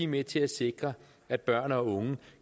med til at sikre at børn og unge